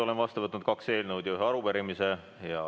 Olen vastu võtnud kaks eelnõu ja ühe arupärimise.